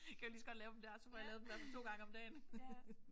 Kan jeg jo lige så godt lave dem der så får jeg i hvert fald lavet dem 2 gange om dagen